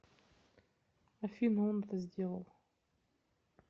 афина он это сделал